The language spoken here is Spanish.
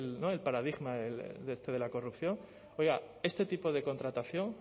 el paradigma de la corrupción oiga este tipo de contratación